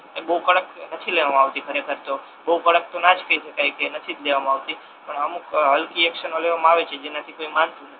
બહુ કડક નથી લેવામા આવતી ઘણી વખત તો બહુ કડક તો ના જ કહી શકાય કે નથી જ દેવામા આવતી અમુક હલકી એક્શનો લેવામા આવે છે જેનાથી કોઈ માનતુ નથી